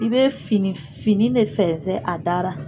I bɛ fini fini le fɛnzɛn a da ra.